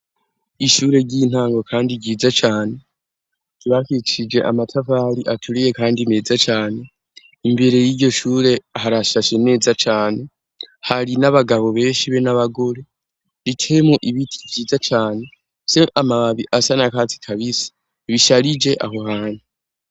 Ishure ry'intango kandi ryiza cane, ryubakishije amatafari aturiye kandi meza cane, imbere y'iyo shure harashashe neza cane, hari n'abagabo beshi be n'abagore, riteyemwo ibiti vyiza cane, bifise amababi asa n'akatsi kabisi, bisharije aho hantu.